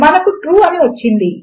మనకు ట్రూ అని వచ్చింది